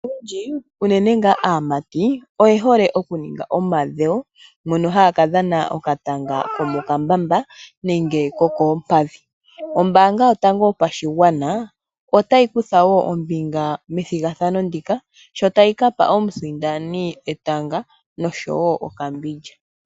Aantu oyendji uunene ngaa aamati oye hole okuninga omadhewo mpono haya ka dhana okatanga komokambamba nenge kokompadhi. Ombanga yotango yopashigwana otayi kutha woo ombinga methigadhano ndika shotali kapa omusindani etanga nosho woo okambindja.